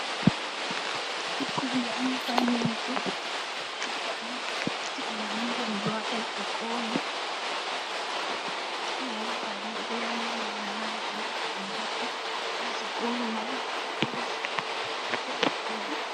Ikhona imfanekiso ebhalwe ukuthi uyamukelwa ezikolo. Ingabibhalwe ukuyamukela labo abangenayo ezikolo kungabe kuyisikolo sebangalaphezulu.